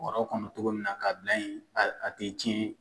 Bɔrɛ kɔnɔ cogo min na k'a bila yen a tɛ tiɲɛ